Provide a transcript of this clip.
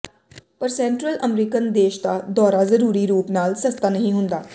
ਪਰ central American ਦੇਸ਼ ਦਾ ਦੌਰਾ ਜ਼ਰੂਰੀ ਰੂਪ ਨਾਲ ਸਸਤਾ ਨਹੀਂ ਹੁੰਦਾ